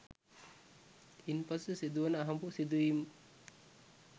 ඉන්පසු සිදුවන අහඹු සිදුවීම්ක්